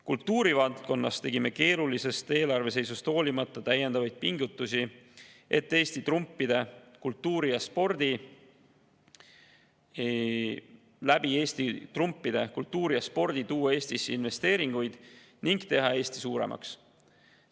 Kultuurivaldkonnas tegime keerulisest eelarve seisust hoolimata täiendavaid pingutusi, et tuua Eesti trumpide, kultuuri ja spordi kaudu Eestisse investeeringuid ning teha Eesti suuremaks.